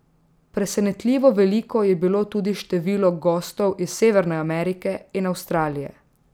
Presenetljivo veliko je bilo tudi število gostov iz Severne Amerike in Avstralije.